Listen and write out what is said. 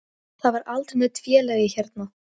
Ég sæki ykkur síðan út á völl.